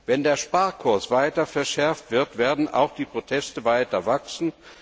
Wenn der Sparkurs weiter verschärft wird, werden auch die Proteste weiter wachsen.